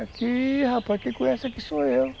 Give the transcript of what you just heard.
Aqui, rapaz, quem conhece aqui sou eu.